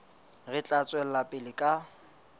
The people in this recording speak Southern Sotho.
re tla tswela pele ka